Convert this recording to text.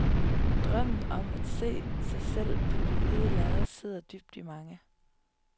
Drømmen om at se sig selv på det hvide lærred sidder dybt i mange.